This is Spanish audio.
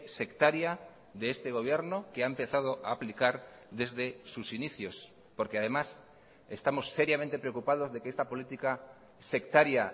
sectaria de este gobierno que ha empezado a aplicar desde sus inicios porque además estamos seriamente preocupados de que esta política sectaria